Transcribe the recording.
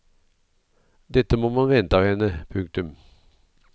Dette må man vente av henne. punktum